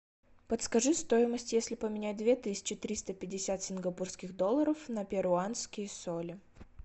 подскажи стоимость если поменять две тысячи триста пятьдесят сингапурских долларов на перуанские соли